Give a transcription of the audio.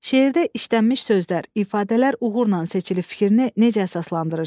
Şeirdə işlənmiş sözlər, ifadələr uğurla seçilib fikrini necə əsaslandırırsız?